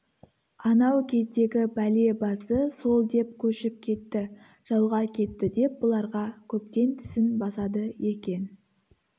анау кездегі бәле басы сол деп көшіп кетті жауға кетті деп бұларға көптен тісін басады екен